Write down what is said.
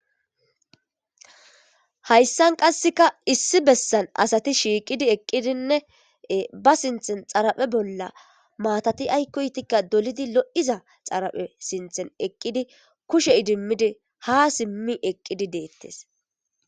Hayssan qasseka issi bessan asati shiiqidi eqqidinne ba sinthen xaraphe bolla maatati aykkoytikka dolidi loiza xaraphe sinthen eqqidi kushe idimmidi ha simmi eqqidi deettes.